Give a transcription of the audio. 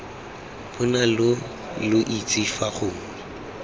bonale lo itse fa gongwe